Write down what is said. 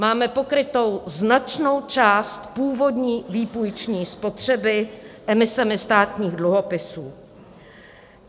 Máme pokrytu značnou část původní výpůjční spotřeby emisemi státních dluhopisů.